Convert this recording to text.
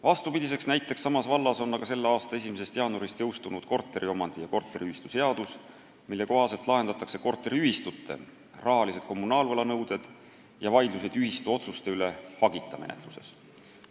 Vastupidiseks näiteks samas vallas on aga selle aasta 1. jaanuaril jõustunud korteriomandi- ja korteriühistuseadus, mille kohaselt lahendatakse korteriühistute rahalised kommunaalvõlanõuded ja vaidlused ühistute otsuste üle hagita menetluses.